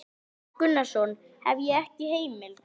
Jón Gunnarsson: Hef ég ekki heimild?